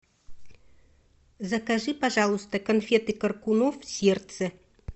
закажи пожалуйста конфеты коркунов сердце